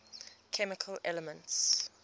chemical elements